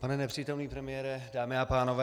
Pane nepřítomný premiére, dámy a pánové.